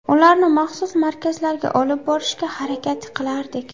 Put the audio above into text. Ularni maxsus markazlarga olib borishga harakat qilardik.